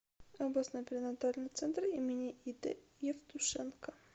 областной перинатальный центр им ид евтушенко